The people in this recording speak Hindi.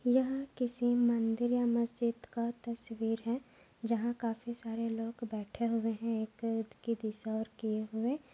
यह किसी मंदिर या मस्जिद का तस्वीर है। जहा काफी सारे लोग बैठे हुये है एक कि दिशा और किये हुये।